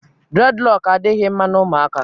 dreadlock adịghị mma na ụmụaka.